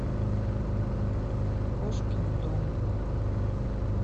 кошкин дом